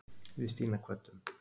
Við Stína kvöddum.